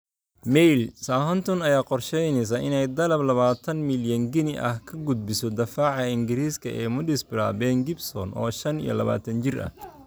(Mail) Southampton ayaa qorsheyneysa inay dalab labatanb milyan ginni ah ka gudbiso daafaca Ingariiska ee Middlesbrough Ben Gibson, oo shan iyo labatan jir ah.